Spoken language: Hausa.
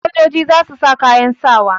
Sojoji za su sa kayan sawa.